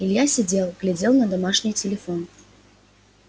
илья сидел глядел на домашний телефон